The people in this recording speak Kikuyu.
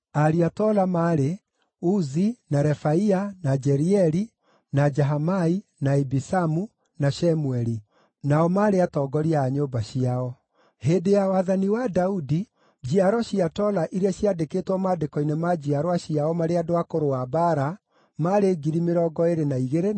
Ariũ a Tola maarĩ: Uzi, na Refaia, na Jerieli, na Jahamai, na Ibisamu, na Shemueli; nao maarĩ atongoria a nyũmba ciao. Hĩndĩ ya wathani wa Daudi, njiaro cia Tola iria ciaandĩkĩtwo maandĩko-inĩ ma njiarwa ciao marĩ andũ a kũrũa mbaara maarĩ 22,600.